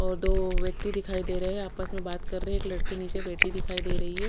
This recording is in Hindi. और दो व्यक्ति दिखाई दे रहे है आपस में बात कर रहे है एक लडकी निचे बेठी दिखाई दे रही है।